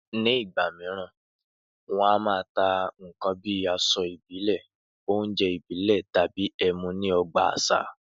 Nígbà mìíràn, wọn a máa ta nǹkan bí i aṣọ ìbílẹ̀, oúnjẹ ìbílẹ̀ tàbí ẹmu ní ọgbà àṣà